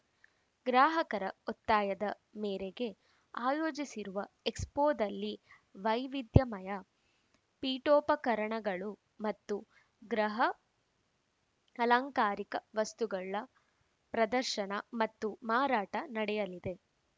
ಗ್ರಾಹಕರ ಒತ್ತಾಯದ ಮೇರೆಗೆ ಆಯೋಜಿಸಿರುವ ಎಕ್ಸ್‌ಪೋದಲ್ಲಿ ವೈವಿಧ್ಯಮಯ ಪೀಠೋಪಕರಣಗಳು ಮತ್ತು ಗೃಹ ಅಲಂಕಾರಿಕ ವಸ್ತುಗಳ ಪ್ರದರ್ಶನ ಮತ್ತು ಮಾರಾಟ ನಡೆಯಲಿದೆ